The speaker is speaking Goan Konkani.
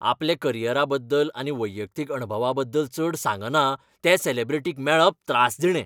आपल्या करियरा बद्दल आनी वैयक्तीक अणभवां बद्दल चड सांगना त्या सॅलेब्रिटीक मेळप त्रासदिणें.